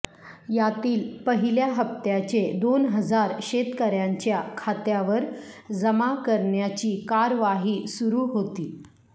यातील पहिल्या हप्त्याचे दोन हजार शेतकऱयांच्या खात्यावर जमा करण्याची कार्यवाही कार्यवाही सुरू होती